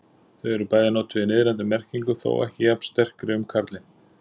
Þau eru bæði notuð í niðrandi merkingu, þó ekki jafn sterkri um karlinn.